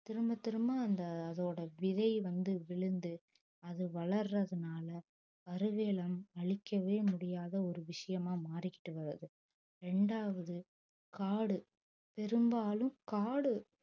திரும்பத் திரும்ப அந்த அதோட விதை வந்து விழுந்து அது வளர்றதுனால கருவேலம் அழிக்கவே முடியாத ஒரு விஷயமா மாறிக்கிட்டு வருது இரண்டாவது காடு பெரும்பாலும் காடு